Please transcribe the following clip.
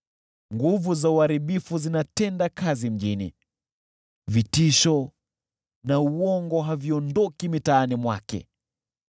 Nguvu za uharibifu zinatenda kazi mjini, vitisho na uongo haviondoki mitaani mwake.